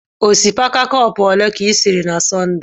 Osikapa cọpu ole ka isiri na Sọnde?